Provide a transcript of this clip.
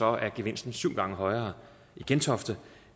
er gevinsten syv gange højere i gentofte